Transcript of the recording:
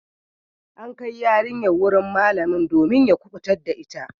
An kai yarinyar wurin malamin domin ya kubutar da ita.